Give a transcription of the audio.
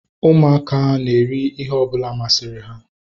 Ụmụaka na-eri ihe ọbụla masịrị ha